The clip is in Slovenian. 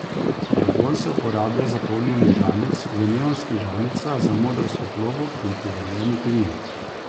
Argon se uporablja za polnjenje žarnic, v neonskih žarnicah za modro svetlobo in pri varjenju kovin.